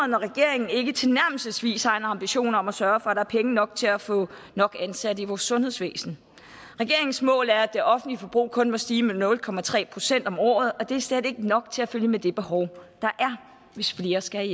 når regeringen ikke tilnærmelsesvis har en ambition om at sørge for at der er penge nok til at få nok ansatte i vores sundhedsvæsen regeringens mål er at det offentlige forbrug kun må stige med nul procent om året og det er slet ikke nok til at følge med det behov der er hvis flere skal